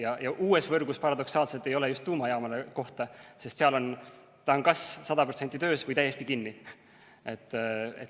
Aga uues võrgus paradoksaalselt ei ole just tuumajaamale kohta, sest ta on kas sada protsenti töös või täiesti kinni.